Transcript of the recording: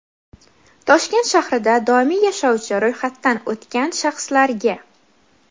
Toshkent shahrida doimiy yashovchi (ro‘yxatdan o‘tgan) shaxslarga;.